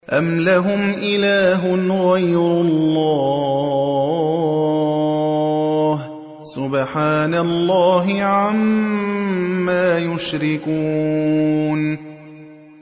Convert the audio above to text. أَمْ لَهُمْ إِلَٰهٌ غَيْرُ اللَّهِ ۚ سُبْحَانَ اللَّهِ عَمَّا يُشْرِكُونَ